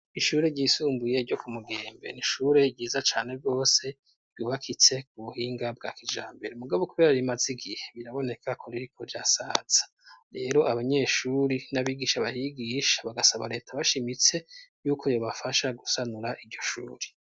Ishure ryisumbuye ryo kumugembe ,ni ishure ryiza cane gose, ryubakitse mu buhinga bwa kijambere, mugabo kubera rimazi gihe biraboneka ko ririko rirasaza ,rero abanyeshuri n'abigisha bahigisha, bagasaba reta bashimitse y'uko ryo bafasha gusanura iryoshuri.